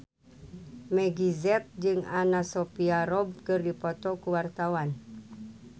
Meggie Z jeung Anna Sophia Robb keur dipoto ku wartawan